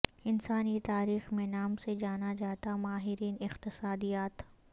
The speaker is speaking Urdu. انسانی تاریخ میں نام سے جانا جاتا ماہرین اقتصادیات